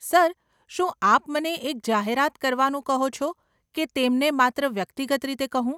Sir, શું આપ મને એક જાહેરાત કરવાનું કહો છો કે તેમને માત્ર વ્યક્તિગત રીતે કહું?